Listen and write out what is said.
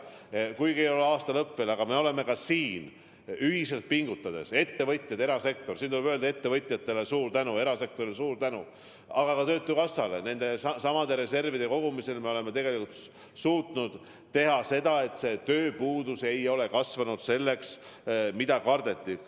Aasta lõpp ei ole küll veel käes, aga me oleme ühiselt pingutades – siin tuleb öelda suur tänu ettevõtjatele, ka erasektorile, samuti töötukassale – reservide kogumisega suutnud tagada, et tööpuudus ei ole kasvanud selliseks, nagu kardeti.